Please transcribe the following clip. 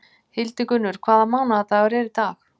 Hildigunnur, hvaða mánaðardagur er í dag?